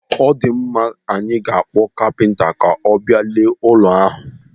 Ọ dịmma, anyị ga-akpọ kapinta ka ọ bịa lee ụlọ ahụ.